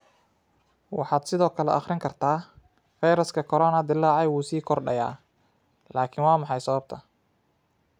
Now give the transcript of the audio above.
Waxaad sidoo kale akhrin kartaa: Fayraska corona dillaacay wuu sii kordhayaa, laakiin waa maxay sababta?